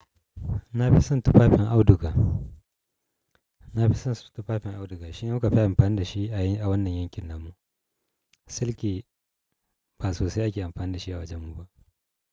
Na fi son tufafin auduga. Na fi son tufafin auduga shi ne wanda muka fi amfani da shi a wannan yankin namu. Silki ba sosai ake amfani da shi a wajen mu ba.